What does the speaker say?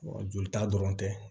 jolita dɔrɔn tɛ